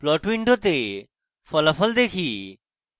plot window ফলাফল দেখি